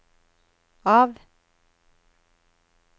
av